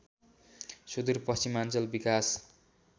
सुदुर पश्चिमाञ्चल विकास